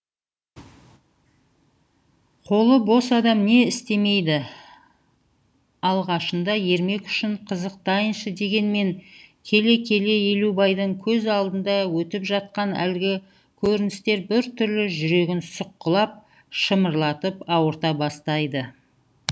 қолы бос адам не істемейді алғашында ермек үшін қызықтайыншы дегенмен келе келе елубайдың көз алдында өтіп жатқан әлгі көріністер бір түрлі жүрегін сұққылап шымырлатып ауырта бастайды